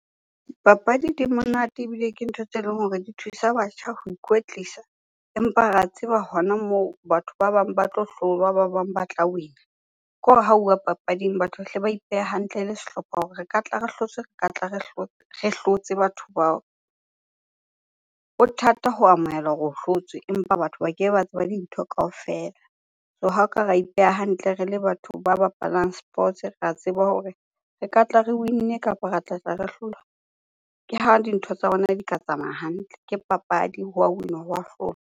Papadi di monate ebile ke ntho tse leng hore di thusa batjha ho ikwetlisa empa re a tseba hona moo batho ba bang ba tlo hlolwa, ba ba bang ba tla win-a. Khore ha uwa papading, batho ba hle ba ipehe hantle le sehlopha hore re ka tla re hlotswe, re ka tla re hlotse batho bao. Ho thata ho amohela hore o hlotswe empa batho ba kebe ba tseba dintho kaofela. So ha oka ra ipeha hantle re le batho ba bapalang sports ra tseba hore re katla re win-ne kapa ra tlatla re hlolwa, ke ho dintho tsa rona di ka tsamaya hantle. Ke papadi, hwa win-wa hwa hlolwa.